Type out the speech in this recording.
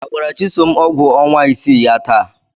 Agbara Chisom ọgwụ ọnwa isii ya taa?